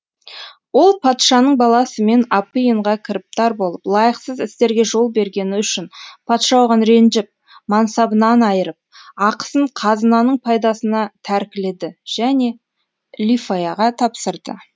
ол патшаның баласымен апиынға кіріптар болып лайықсыз істерге жол бергені үшін патша оған ренжіп мансабынан айырып ақысын қазынаның пайдасына тәркіледі және лифаяға тапсырды